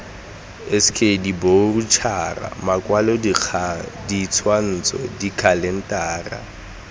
sk diboroutšhara makwalodikgang ditshwantsho dikhalentara